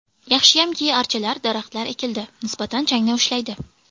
Yaxshiyamki, archalar, daraxtlar ekildi, nisbatan changni ushlaydi.